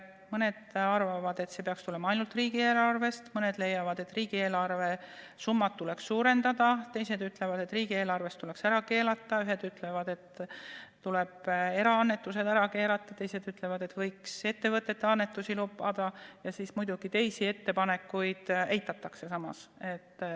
Mõned arvavad, et raha peaks tulema ainult riigieelarvest, mõned leiavad, et riigieelarve summasid tuleks suurendada, teised ütlevad, et riigieelarvest rahastamine tuleks ära keelata, ühed ütlevad, et tuleb eraannetused ära keerata, teised ütlevad, et võiks ettevõtete annetusi lubada, ja muidugi teisi ettepanekuid samas eitatakse.